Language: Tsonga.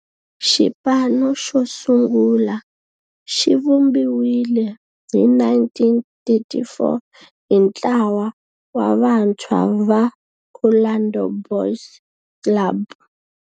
Xipano xosungula xivumbiwile hi 1934 hi ntlawa wa vantshwa va Orlando Boys Club.